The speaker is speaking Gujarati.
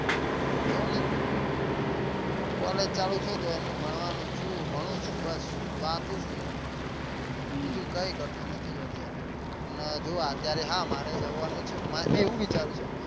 જોવો ને collage ચાલુ છે તો એનું ભણવા નું છું ભણું છું બસ વાંચું છું બીજું કઈ કરતો નથી અત્યારે અને જોવો અત્યારે હા મારે જવા નું છે મને એવું વિચારવું